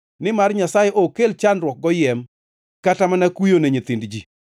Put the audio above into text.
nimar Nyasaye ok kel chandruok goyiem, kata mana kuyo ni nyithind ji.